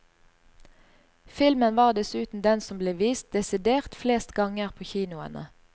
Filmen var dessuten den som ble vist desidert flest ganger på kinoene.